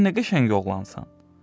Sən nə qəşəng oğlansan.